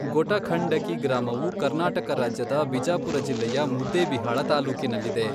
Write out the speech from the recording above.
ಗೊಟಖಂಡಕಿ ಗ್ರಾಮವು ಕರ್ನಾಟಕ ರಾಜ್ಯದ ಬಿಜಾಪುರ ಜಿಲ್ಲೆಯ ಮುದ್ದೇಬಿಹಾಳ ತಾಲ್ಲೂಕಿನಲ್ಲಿದೆ.